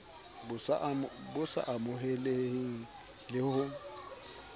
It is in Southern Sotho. bo sa amoheleheng le ho